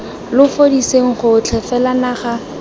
lo fudiseng gotlhe fela naga